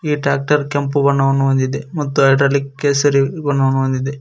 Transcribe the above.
Tractor ಕೆಂಪು ಬಣ್ಣವನ್ನು ಹೊಂದಿದೆ ಮತ್ತು ಹೈಡ್ರಾಲಿಕ್ ಕೇಸರಿ ಬಣ್ಣವನ್ನು ಹೊಂದಿದೆ.